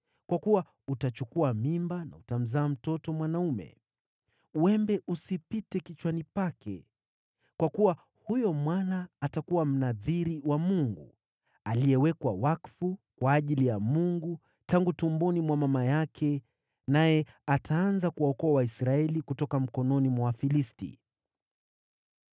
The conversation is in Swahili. kwa kuwa utachukua mimba na utamzaa mtoto mwanaume. Wembe usipite kichwani pake, kwa kuwa huyo mwana atakuwa Mnadhiri wa Mungu, aliyewekwa wakfu kwa ajili ya Mungu tangu tumboni mwa mama yake, naye ataanza kuwaokoa Waisraeli kutoka mikononi mwa Wafilisti.”